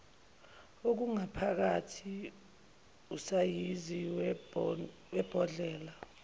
okungaphakathi usayizi webhodlela